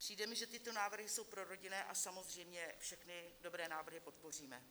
Přijde mi, že tyto návrhy jsou prorodinné, a samozřejmě všechny dobré návrhy podpoříme.